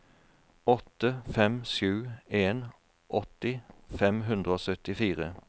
åtte fem sju en åtti fem hundre og syttifire